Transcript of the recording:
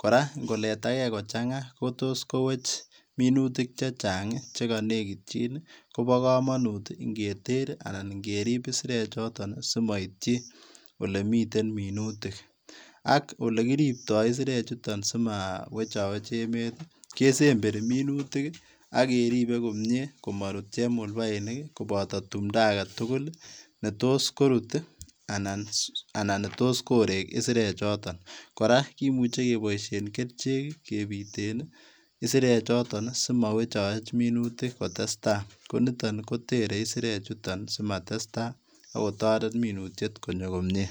kora ng'oletake kochang'a kotos kowech minutik chechang' chekonekityin, kopo komonut ing'eter anan ing'etip isirechoton simoityi olemiten minutik. Ak olekiropto minutik chuton simowechowech emet ke semberi minutik ak keripe komie komorut chemulbainik koboto timdo agetugul ii, netos korut anan netos koree isirek choton. Kora kimuche keboisien kerichek kebiten isirechoton simowechowech minutik kotesta. Koniton kotere isirek chuton simatesta akotoret minutiet konyo komie